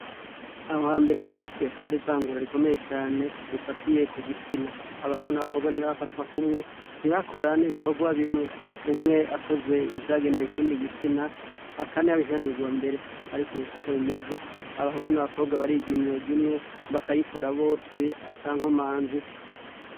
Aho ha mbere hahise hari ivangura rikomeye cane rifatiye ku gitsina, abahamwe n'abakobwa ntibafatwa kumwe ntibakoran' ibikorwa bimwe, umwe akoze ivyagenewe ikindi gitsina akane abihianirwa mbere, ariko ubusiko bimeze abahungu n'abakobwa bariga imyuga imwe bakayikora bose ata nkomanzi.